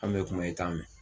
An me kuma i a mɛn